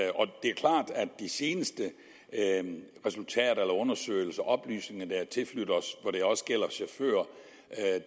de seneste resultater af undersøgelser og oplysninger der er tilflydt os hvor det også gælder chauffører